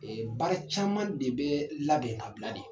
baara caman de bɛ labɛn ka bila de.